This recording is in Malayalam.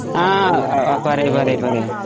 പറയ് പറയ്